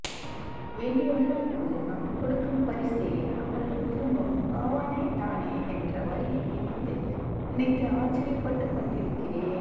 வேண்டியவர்களுக்கு நாம் கொடுக்கும் பரிசே அவர்கள் விரும்பும் பாவனை தானே என்ற வரியை நினைத்து நினைத்து ஆச்சரியப்பட்டுக்கொண்டிருக்கிறேன்